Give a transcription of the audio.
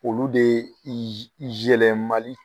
Olu de i z i zɛlɛmali